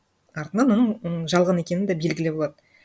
артынан оның жалған екені да белгілі болады